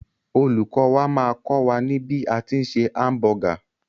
Olùkọ́ wà máà kọ́ wà ní bí a tí ń se hamburger.